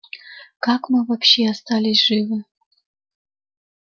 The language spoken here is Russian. как мы вообще остались живы